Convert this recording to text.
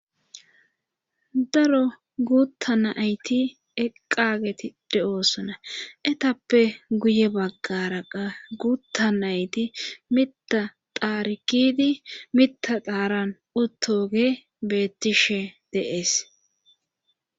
daro guutta nayti eqqageti de7oosona etappe guye baggaraqa guutta nayti mita taarikidi mita xaaran otooge beettishe deees